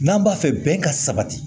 N'an b'a fɛ bɛn ka sabati